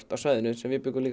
af svæðinu sem við bjuggum